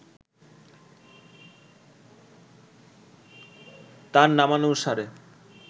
তাঁর নামানুসারে